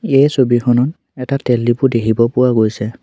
এই ছবিখনত এটা তেলডিপো দেখিব পোৱা গৈছে।